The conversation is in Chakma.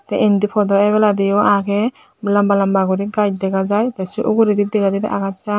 te indi phodo ebeladi o age lamba lamba guri gaj dega jiy te se uguredi dega jai de agacchan.